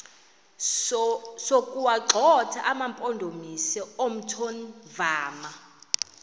sokuwagxotha amampondomise omthonvama